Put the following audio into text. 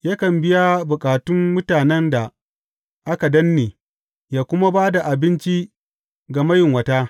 Yakan biya bukatun mutanen da aka danne ya kuma ba da abinci ga mayunwata.